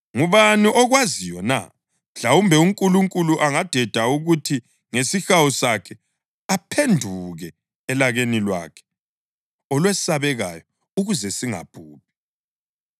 Ngubani okwaziyo na? Mhlawumbe uNkulunkulu angadeda kuthi ngesihawu sakhe aphenduke elakeni lwakhe olwesabekayo ukuze singabhubhi.”